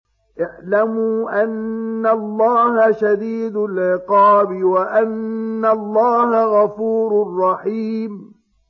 اعْلَمُوا أَنَّ اللَّهَ شَدِيدُ الْعِقَابِ وَأَنَّ اللَّهَ غَفُورٌ رَّحِيمٌ